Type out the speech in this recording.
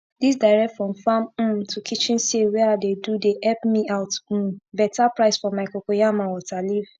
dis direct from farm um to kitchen sale wey i dey do dey epp me out um beta price for my cocoyam and water leaf